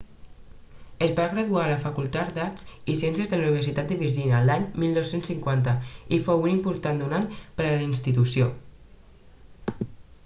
es va graduar a la facultat d'arts i ciències de la universitat de virgínia l'any 1950 i fou un important donant per a la institució